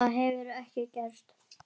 Það hefur ekki gerst.